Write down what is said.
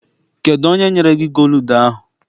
Kedụ onye nyere gị gooludu ahụ?